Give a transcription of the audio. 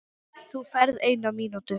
Þú færð eina mínútu.